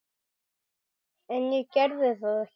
En ég gerði það ekki.